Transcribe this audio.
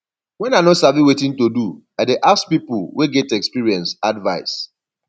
wen i no sabi wetin to do i dey ask pipu wey get experience advice